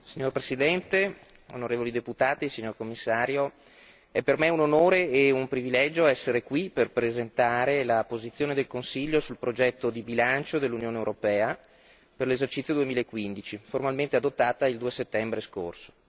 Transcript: Signor Presidente, onorevoli deputati, Commissario, è per me un onore e un privilegio essere qui per presentare la posizione del Consiglio sul progetto di bilancio dell'Unione europea per l'esercizio 2015 formalmente adottata il 2 settembre scorso.